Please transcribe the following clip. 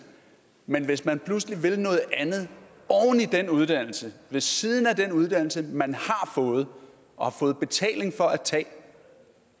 men hvis man pludselig vil i den uddannelse ved siden af den uddannelse man har fået og har fået betaling for at tage